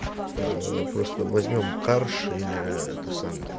ээ просто возьмём карш или это самое